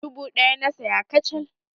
Dubu ɗaya na saya kacal.